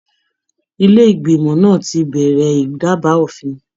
Ilé ìgbìmọ̀ náà ti bẹrẹ ìdaba òfin.